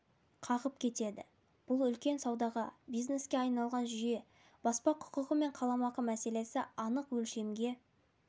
қағып кетеді бұл үлкен саудаға бизнеске айналған жүйе баспа құқығы мен қаламақы мәселесі анық өлшемге